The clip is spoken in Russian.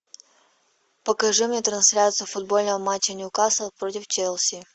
покажи мне трансляцию футбольного матча ньюкасл против челси